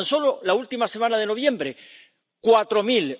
Tan solo la última semana de noviembre, cuatro mil.